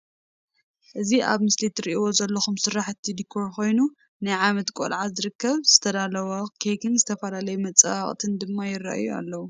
እዚ ኣብ ምስሊ ትርኢዎ ዘለኩም ስራሕቲ ድኮር ኮይኑ ኣብ ናይ ዓመት ቆልዓ ዝክበር ዝተዳለወ ኬክን ዝተፈላለዩ መፀባበቅን ድማ ይርኣዩ ኣለው።